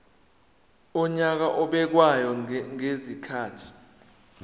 wonyaka obekwayo ngezikhathi